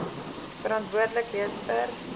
verantwoordelik wees vir